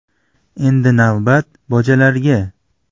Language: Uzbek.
Endi navbat “Bojalar”ga.